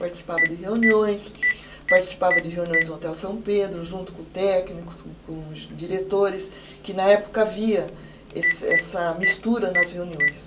Participava de reuniões, participava de reuniões no Hotel São Pedro, junto com técnicos, com com os diretores, que na época havia esse essa mistura nas reuniões.